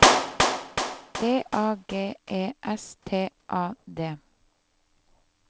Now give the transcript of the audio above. D A G E S T A D